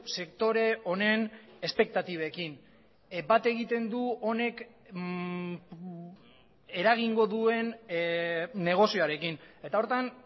sektore honen espektatibekin bat egiten du honek eragingo duen negozioarekin eta horretan